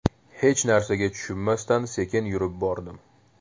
Hech narsaga tushunmasdan sekin yurib bordim.